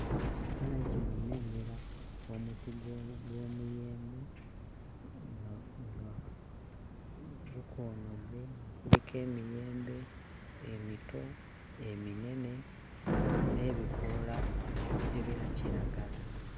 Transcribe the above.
Mu kifaananyi kino nnengera omuti gw'omuyembe nga nga gukoonodde, nga kuliko emiyembe emito eminene n'ebikoola ebya kiragala.